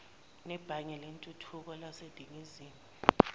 nebhange lentuthuko laseningizimu